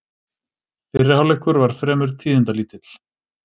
Fyrri hálfleikurinn var fremur tíðindalítill